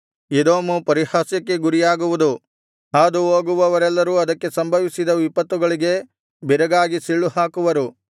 Edom ಪರಿಹಾಸ್ಯಕ್ಕೆ ಗುರಿಯಾಗುವುದು ಹಾದುಹೋಗುವವರೆಲ್ಲರೂ ಅದಕ್ಕೆ ಸಂಭವಿಸಿದ ವಿಪತ್ತುಗಳಿಗೆ ಬೆರಗಾಗಿ ಸಿಳ್ಳುಹಾಕುವರು